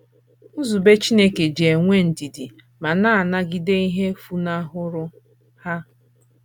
Nzube Chineke ji enwe ndidi ma na - anagide ihe funahụrụ ha.